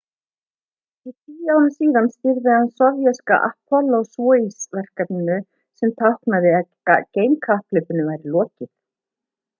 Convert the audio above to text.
tíu árum síðar stýrði hann sovéska þætti apollo-soyuz verkefnisins sem táknaði að geimkapphlaupinu var lokið